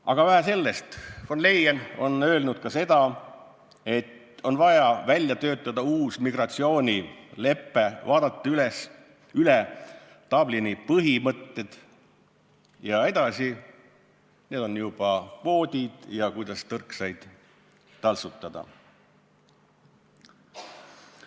Aga vähe sellest, von Leyen on öelnud ka seda, et vaja on välja töötada uus migratsioonilepe, vaadata üle Dublini põhimõtted ja seejärel juba kvoodid ja see, kuidas tõrksaid taltsutada.